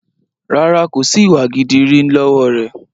Rárá, kòsi ìwà gidi rí lọ́wọ́ rẹ.